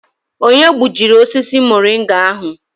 Onye gbujiri osisi muringa ahụ?